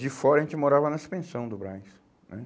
De fora, a gente morava na suspensão do Brás, né?